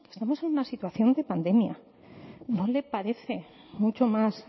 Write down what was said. estamos en una situación de pandemia no le parece mucho más